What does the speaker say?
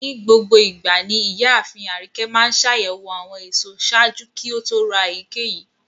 Nigbogboigba ni iyaafin Arike maa ńṣayẹwo awọn eso ṣaaju ki o to ra eyikeyi